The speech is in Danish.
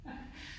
Nej